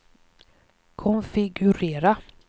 konfigurera